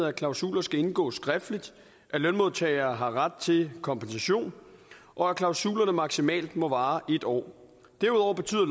at klausuler skal indgås skriftligt at lønmodtagere har ret til kompensation og at klausulerne maksimalt må vare en år derudover betyder